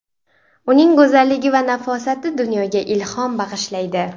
Uning go‘zalligi va nafosati dunyoga ilhom bag‘ishlaydi.